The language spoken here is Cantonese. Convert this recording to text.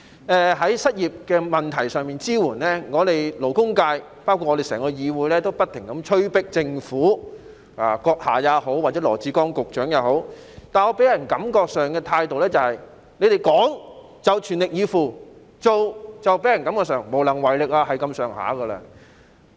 對於失業人士的支援，我們勞工界以至整個議會，都不停催迫政府，包括閣下和羅致光局長，但你們予人的感覺是，你們講就全力以赴，但做卻令人感覺是無能為力。